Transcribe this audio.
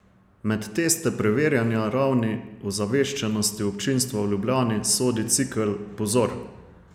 Med teste preverjanja ravni ozaveščenosti občinstva v Ljubljani sodi cikel Pozor!